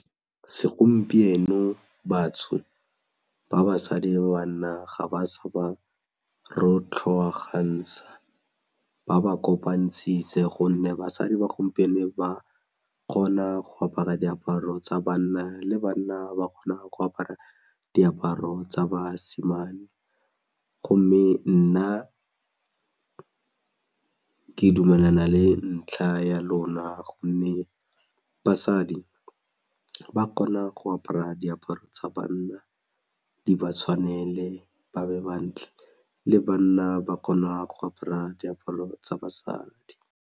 Segompieno batsho ba basadi le banna ga ba sa ba rotlhoagantsha ba ba kopantshitse gonne basadi ba gompieno ba kgona go apara diaparo tsa banna le banna ba kgona go apara diaparo tsa basimane gomme nna ke dumelana le ntlha ya lona gomme basadi ba kgona go apara diaparo tsa banna di ba tshwanele ba be bantle le banna ba kgona go apara diaparo tsa basadi.